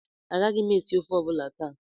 Agaghị m esi ofe ọ bụla taa